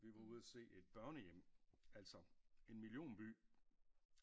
Vi var ude og se et børnehjem altså en millionby